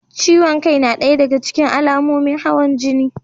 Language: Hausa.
Ciwon kai na ɗaya da ga cikin alamomin hawan jini.